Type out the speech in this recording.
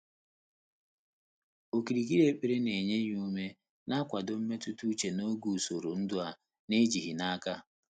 Ókìrìkìrì ékpèré nà-ényé yá úmé nà nkwàdò mmétụ́tà úchè n’ógè ùsòrò ndụ́ á nà-éjíghị́ n’áká.